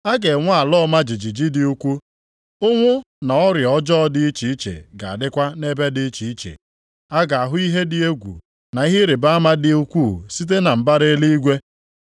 A ga-enwe ala ọma jijiji dị ukwuu. Ụnwụ na ọrịa ọjọọ dị iche iche ga-adịkwa nʼebe dị iche iche. A ga-ahụ ihe dị egwu na ihe ịrịbama dị ukwuu site na mbara eluigwe.